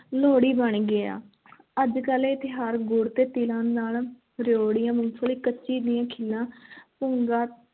ਲੋਹੜੀ ਬਣ ਗਿਆ ਅੱਜ-ਕੱਲ੍ਹ ਇਹ ਤਿਉਹਾਰ ਗੁੜ ਤੇ ਤਿਲਾਂ ਨਾਲ ਰਿਓੜੀਆਂ, ਮੂੰਗਫਲੀ, ਮੱਕੀ ਦੀਆਂ ਖਿੱਲਾਂ ਭੁੱਗਾ,